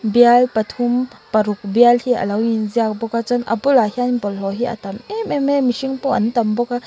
bial pathum paruk bial hi alo inziak bawk a chuan a bulah hian bawlhhlawh hi a tam em em mai a mihring pawh an tam bawk a --